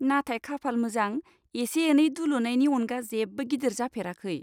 नाथाय खाफाल मोजां, एसे एनै दुलुनायनि अनगा जेबो गिदिर जाफेराखै।